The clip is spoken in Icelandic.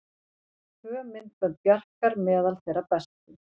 Tvö myndbönd Bjarkar meðal þeirra bestu